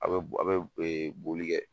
A' bɛ a' bɛ boli kɛ.